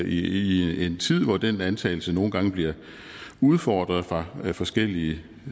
i en tid hvor den antagelse nogle gange bliver udfordret fra forskellige